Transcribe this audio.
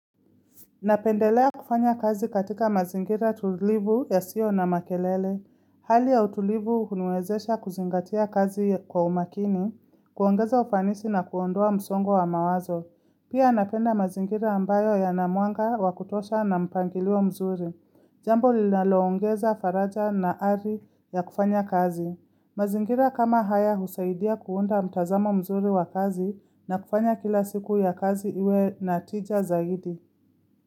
Napendelea kufanya kazi katika mazingira tulivu yasiyo na makelele. Hali ya utulivu huniwezesha kuzingatia kazi kwa umakini, kuongeza ufanisi na kuondoa msongo wa mawazo. Pia napenda mazingira ambayo yana mwanga wakutosha na mpangilio mzuri. Jambo linaloongeza faraja na ari ya kufanya kazi. Mazingira kama haya husaidia kuunda mtazamo mzuri wa kazi na kufanya kila siku ya kazi iwe natija zaidi.